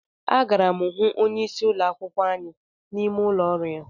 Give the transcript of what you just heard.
Agara m hụ onyeisi ụlọ akwụkwọ anyị n'ime ụlọ ọrụ ya